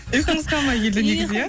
ұйқыңыз қанбай келді негізі иә